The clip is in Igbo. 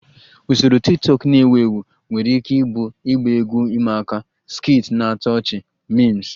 Usoro tiktokụ na-ewu ewu nwere ike ịbụ ịgba egwu ịma aka, skits na-atọ ọchị, memes